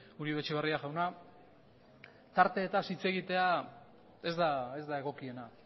uribe etxebarria jauna tarteetaz hitz egitea ez da egokiena